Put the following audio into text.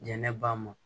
Jɛnɛba mɔ